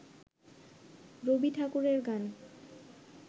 রবি ঠাকুরের গান